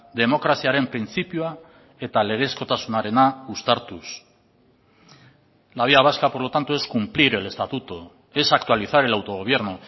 demokraziaren printzipioa eta legezkotasunarena uztartuz la vía vasca por lo tanto es cumplir el estatuto es actualizar el autogobierno